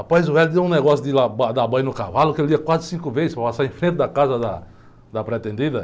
Rapaz, o velho, ele deu um negócio de ir lá, ba, dar banho no cavalo, que ele ia quase cinco vezes para passar em frente da casa da pretendida.